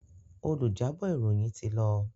Olùjábọ̀ ìròyìn ti lọ.